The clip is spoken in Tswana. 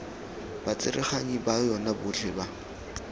batsereganyi ba yona botlhe ba